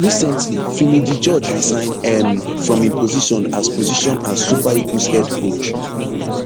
recently finidi george resign um from im position as position as super eagles head coach